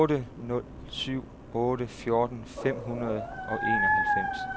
otte nul syv otte fjorten fem hundrede og enoghalvfems